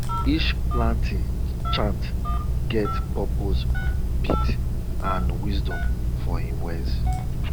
each planting chant get purpose beat and wisdom for im words